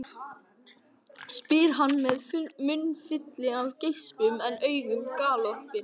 spyr hann með munnfylli af geispum en augun galopin.